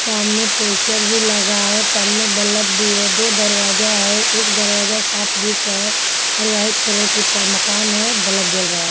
सामने पोस्टर भी लगा है और सामने बल्ब भी है दो दरवाजा है एक दरवाजा साफ दिख रहा है और वाइट कलर की मकान है बल्ब जल रहा है.